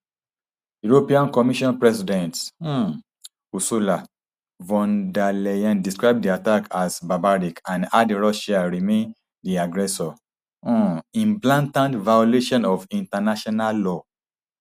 european commission president um ursula von der leyen describe di attack as barbaric and add russia remain di aggressor um in blatant violation of international law